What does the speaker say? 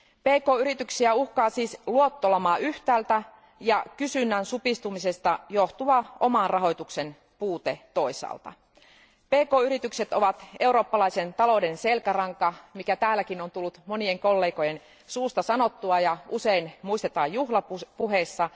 Pk yrityksiä uhkaa siis luottolama yhtäältä ja kysynnän supistumisesta johtuva oman rahoituksen puute toisaalta. Pk yritykset ovat eurooppalaisen talouden selkäranka, mikä täälläkin on tullut monien kollegoiden suusta sanottua ja usein muistetaan juhlapuheissa.